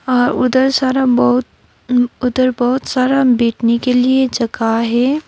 अ उधर सारा बहोत उधर बहोत सारा बैठने के लिए जगह है।